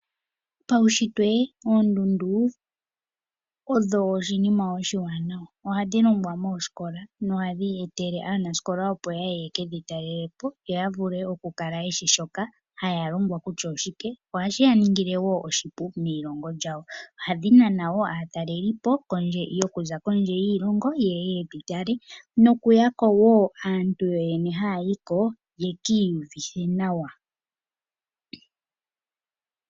Paushitwe oondundu odho iinima iiwanawa. Ohadhi longwa moosikola nohadhi etele aanasikola, opo yaye ye kedhitalelepo ya kale yeshi kutya shoka ha yalongwa oshike. Ohashi ya ningile wo oshipu meilongo lyawo. Ohadhi nana aatalelipo okuza kondje yiilongo yeye yedhitale nokuya wo aantu yoyene ha yayiko yekiiyuvithe nawa.